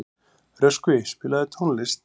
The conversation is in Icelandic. Röskvi, spilaðu tónlist.